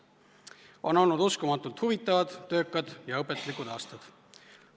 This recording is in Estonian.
On olnud uskumatult huvitavad, töökad ja õpetlikud aastad.